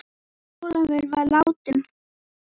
Ólafur var þá látinn.